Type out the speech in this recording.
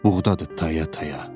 Buğdadır taya-taya.